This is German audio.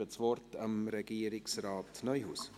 Ich gebe das Wort Regierungsrat Neuhaus.